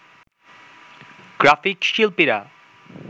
graphic শিল্পীরা